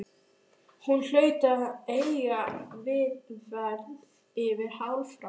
Hún hlaut að eiga við ferð yfir haf frá